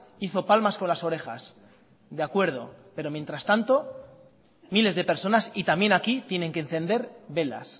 hizo palmas con las orejas de acuerdo pero mientras tanto miles de personas y también aquí tienen que encender velas